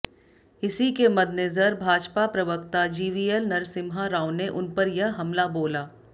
इसी के मद्देनजर भाजपा प्रवक्ता जीवीएल नरसिम्हा राव ने उन पर यह हमला बोला